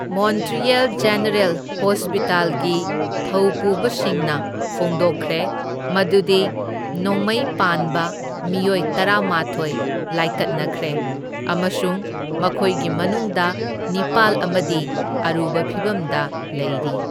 Montreal general ꯍꯣꯁꯄꯤꯇꯥꯜꯒꯤ ꯊꯧꯄꯨꯕꯥꯁꯤꯡꯅ ꯐꯣꯡꯗꯣꯛꯈ꯭ꯔꯦ ꯃꯗꯨꯗꯤ ꯅꯣꯡꯃꯩ ꯄꯥꯟꯕ ꯃꯤꯑꯣꯢ ꯇꯔꯥꯃꯥꯊꯣꯢ ꯂꯥꯢꯀꯠꯅꯈ꯭ꯔꯦ, ꯑꯃꯁꯨꯡ ꯃꯈꯣꯢꯒꯤ ꯃꯅꯨꯡꯗ ꯅꯤꯄꯥꯜ ꯑꯃꯗꯤ ꯑꯔꯨꯕ ꯐꯤꯚꯝꯗ ꯂꯩꯔꯤ꯫